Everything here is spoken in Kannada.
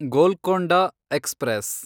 ಗೋಲ್ಕೊಂಡ ಎಕ್ಸ್‌ಪ್ರೆಸ್